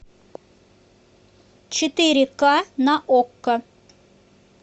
четыре ка на окко